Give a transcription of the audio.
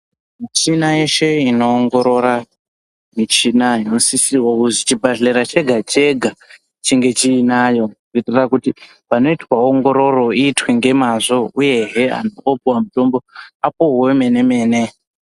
Michina yeshe inoongorora imchina inosisirwa kuzi chibhehlera chega-chega chinge chiinayo kuitira kuti panoitwa ongororo iitwe ngemazvo uyehe antu oopuwa mutombo apuwe wemene-mene.